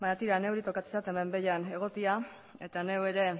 baina tira neuri tokatzen zait hemen behian egotea eta neu ere